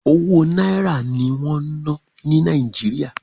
Owó Náírà ní wọ́n ń ná ní Nàìjíríà.